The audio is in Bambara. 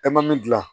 E ma min dilan